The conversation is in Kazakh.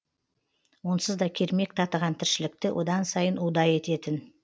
онсыз да кермек татыған тіршілікті одан сайын удай ететін